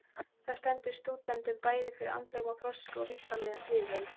Það stendur stúdentunum bæði fyrir andlegum þroska og líkamlegum þrifum.